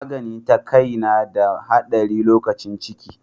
Magani ta kai na da haɗari lokacin ciki.